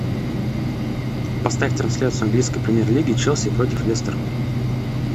поставь трансляцию английской премьер лиги челси против лестер